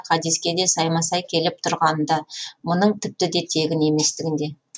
хадиске де сайма сай келіп тұрғанында мұның тіпті де тегін еместігінде